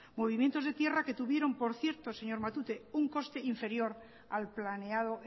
movimientos de tierra que tuvieron por cierto señor matute un coste inferior al planeado